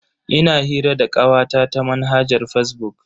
Ina hira da kawata ta manhajar fazbuk.